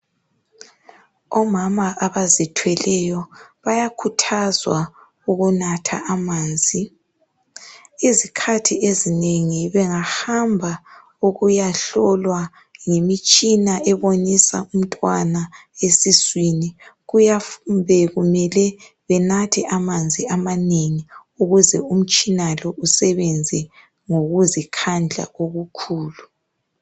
Omama abazithweleyo bayakhuthazwa ukunatha amanzi izikhathi ezinengi bengahamba ukuyahlolwa ngemitshina ebonisa umntwana esiswini kuyabe kumele benathe amanzi amanengi ukuze umtshina lo usebenze ngokuzi khandla okukhulu